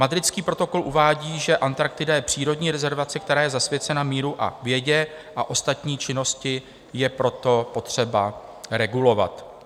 Madridský protokol uvádí, že Antarktida je přírodní rezervace, která je zasvěcena míru a vědě, a ostatní činnosti je proto potřeba regulovat.